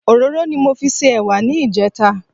Òróró ni mo fi se ẹ̀wà ní ìjẹta